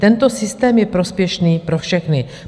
Tento systém je prospěšný pro všechny.